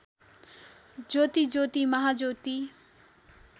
ज्योति ज्योति महाज्योति